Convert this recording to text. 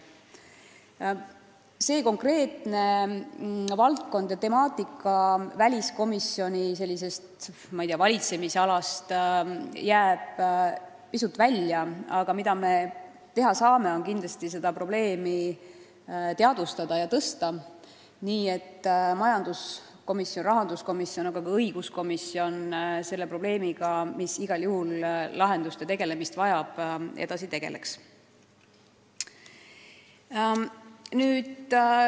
See konkreetne temaatika jääb küll väliskomisjoni valitsemisalast pisut välja, aga me saame kindlasti seda teadvustada ja tõstatada, nii et majanduskomisjon, rahanduskomisjon ja ka õiguskomisjon selle probleemiga, mis igal juhul lahendamist vajab, edasi tegeleks.